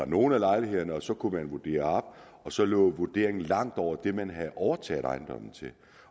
nogle af lejlighederne og så kunne man vurdere op og så lå vurderingen langt over det man havde overtaget ejendommen til